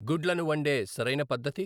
గుడ్లను వన్డే సరైన పద్ధతి